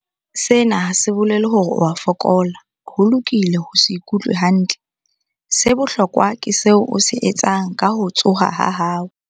Sena ha se bolele hore o a fokola. Ho lokile ho se ikutlwe hantle. Se bohlokwa ke seo o se etsang ka ho tshoha ha hao.